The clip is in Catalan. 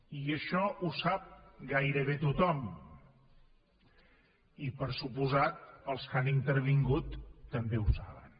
i això ho sap gairebé tothom i per descomptat els que han intervingut també ho saben